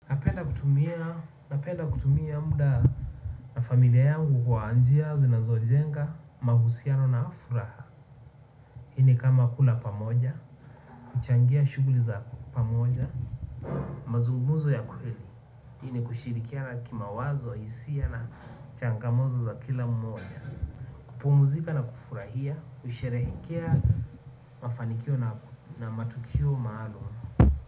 Kutumia napenda kutumia muda na familia yangu kwa njia zinazojenga mahusiano na furaha. Hii ni kama kula pamoja, kuchangia shuguli za pamoja. Mazunguzo ya kuhili. Hini kushirikia na kima wazo, hisia na changamoto za kila mmoja. Kupumzika na kufurahia, kusherehekea mafanikio na matukio maalum.